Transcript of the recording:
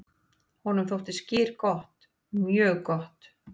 """Honum þótti skyr gott, mjög gott."""